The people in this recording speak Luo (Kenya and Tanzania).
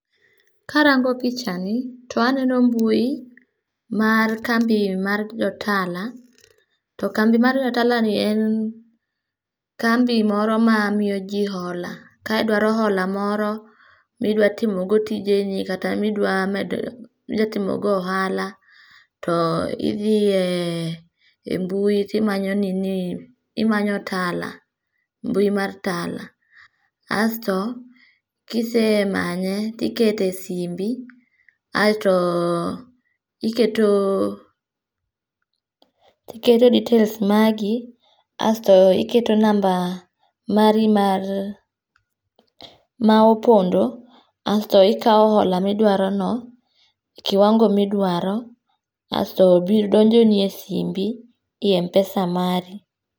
Karango pich ni to aneno mbui mar kambi mar jo Tala. To kambi mar jo Tala ni en kambi moro ma miyoji hola. Ka idwaro hola moro midwatimogo tijeni kata midwatimogo ohala to idie embui timanyo nini, timanyo Tala, mbui mar Tala. Asto kisemanye tikete simbi, aeto iketo details magi, asto iketo namba mari maopondo, asto ikawo hola midwarono e kiwango midwaro. Asto bill donjoni e simbi, ei Mpesa mari.